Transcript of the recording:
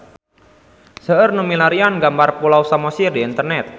Seueur nu milarian gambar Pulau Samosir di internet